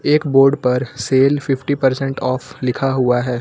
एक बोर्ड पर sale fifty percent off लिखा हुआ है।